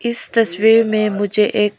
इस तस्वीर में मुझे एक--